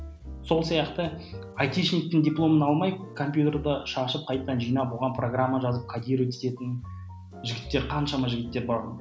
сол сияқты айтишниктің дипломын алмай компьютерді шашып қайтадан жинап оған программа жазып кодировать ететін жігіттер қаншама жігіттер бар